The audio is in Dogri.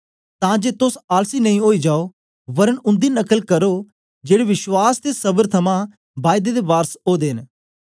तां जे तोस आलसी नेई ओई जाओ वरन उन्दी नकल करो जेड़े विश्वास ते सबर थमां बायदे दे वारस ओदे न